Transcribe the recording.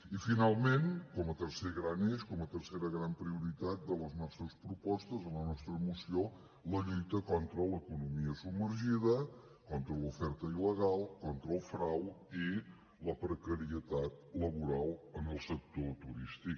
i finalment com a tercer gran eix com a tercera gran prioritat de les nostres propostes en la nostra moció la lluita contra l’economia submergida contra l’oferta il·legal contra el frau i la precarietat laboral en el sector turístic